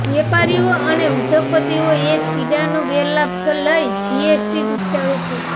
વેપારીઓ અને ઉદ્યોગપતિઓ એ છીંડાનો ગેરલાભ લઈ જીએસટી ગુપચાવે છે